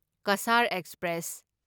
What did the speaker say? Cachar express